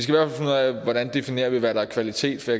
definerer hvad der er kvalitet for